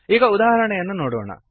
ಈಗ ಉದಾಹರಣೆಯನ್ನು ನೋಡೋಣ